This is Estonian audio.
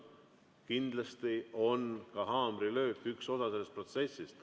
Kindlasti on ka haamrilöök üks osa sellest protsessist.